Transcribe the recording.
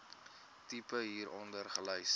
tipe hieronder gelys